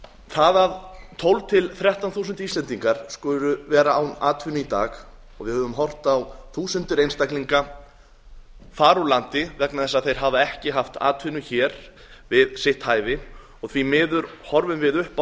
það að tólf til þrettán þúsund íslendingar skulu vera án atvinnu í dag og við höfum horft á þúsundir einstaklinga fara úr landi vegna þess að þeir hafa ekki haft atvinnu hér við sitt hæfi og því miður horfum við upp á